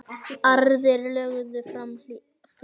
Aðrir lögðu fram fé.